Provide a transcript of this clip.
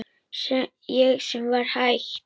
Ég sem var hætt.